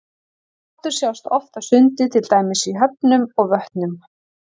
Rottur sjást oft á sundi til dæmis í höfnum og vötnum.